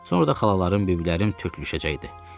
Sonra da xalalarım, bibilərim tökülüşəcəkdi.